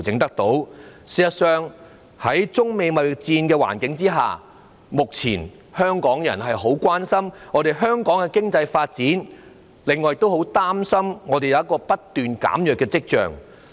事實上，在中美貿易戰的環境下，香港人目前很關心香港的經濟發展，另外也很擔心經濟發展出現了不斷減弱的跡象。